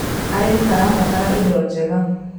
arĩmi marabatara indo njega